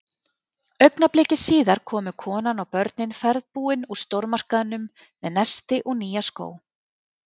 Augnabliki síðar komu konan og börnin ferðbúin úr stórmarkaðnum með nesti og nýja skó.